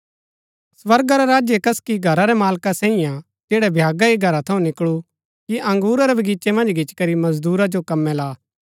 स्वर्गा रा राज्य कसकि घरा रै मालका सांईये हा जैडा भ्यागा ही घरा थऊँ निकळू कि अंगुरा रै बगीचे मन्ज गिच्ची करी मजदूरा जो कमै ला